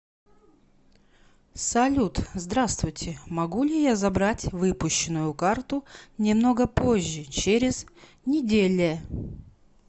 салют здравствуйте могу ли я забрать выпущенную карту немного позже через неделе